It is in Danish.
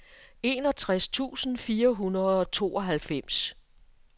enogtres tusind fire hundrede og tooghalvfems